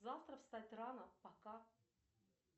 завтра встать рано пока